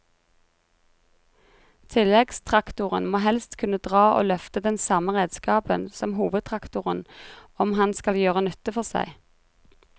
Tilleggstraktoren må helst kunne dra og løfte den samme redskapen som hovedtraktoren om han skal gjøre nytte for seg.